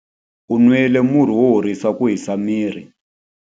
U nwile murhi wo horisa ku hisa miri.